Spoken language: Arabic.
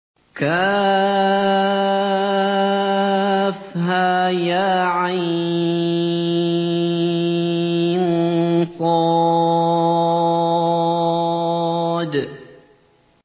كهيعص